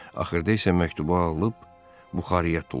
Axırda isə məktubu ağılıb buxarıya tulladı.